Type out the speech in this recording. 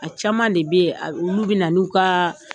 A caman de bɛ ye olu bɛ na n'u ka